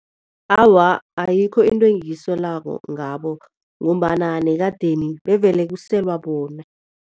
Awa, ayikho into engiyisolako ngabo ngombana nekadeni bevele kuselwa bona.